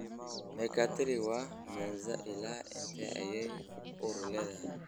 Mekatili wa menza ilaa intee ayay uur leedahay